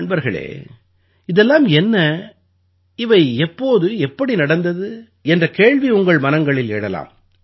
நண்பர்களே இதெல்லாம் என்ன இவை எப்போது எப்படி நடந்தது என்ற கேள்வி உங்கள் மனங்களில் எழலாம்